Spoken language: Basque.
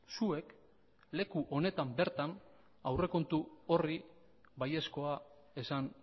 zuek leku honetan bertan aurrekontu horri baiezkoa esan